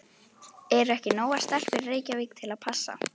Eru ekki nógar stelpur í Reykjavík til að passa?